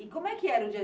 E como é que era o dia?